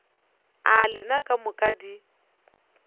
a lena ka moka di